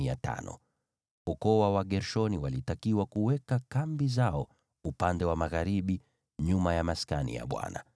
Ukoo wa Wagershoni walitakiwa kuweka kambi zao upande wa magharibi, nyuma ya Maskani.